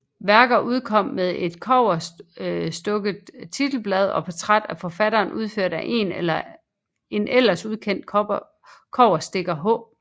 Værket udkom med et kobberstukkent titelblad og portræt af forfatteren udført af en ellers ukendt kobberstikker H